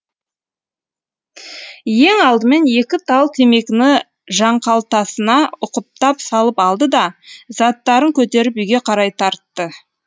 ең алдымен екі тал темекіні жанқалтасына ұқыптап салып алды да заттарын көтеріп үйге қарай тартты